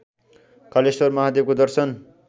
कालेश्वर महादेवको दर्शन